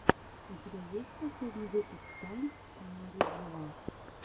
у тебя есть последний выпуск тайн мариджоа